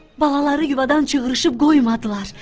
Balaları yuvadan cığırışıb qoymadılar.